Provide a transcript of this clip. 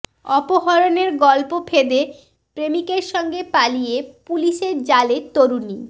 অপহরণের গল্প ফেঁদে প্রেমিকের সঙ্গে পালিয়ে পুলিশের জালে তরুণী